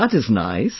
That is nice